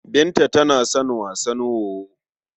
Binta tana son wasan wowo.